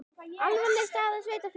Alvarleg staða sveitarfélaga